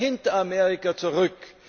Wir bleiben hinter Amerika zurück.